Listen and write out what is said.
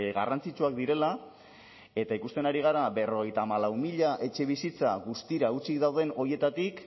garrantzitsuak direla eta ikusten ari gara berrogeita hamalau mila etxebizitza guztira hutsik dauden horietatik